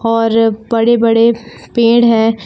और बड़े बड़े पेड़ है।